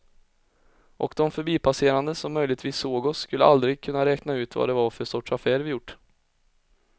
Och de förbipasserande som möjligtvis såg oss skulle aldrig kunna räkna ut vad det var för sorts affär vi gjort.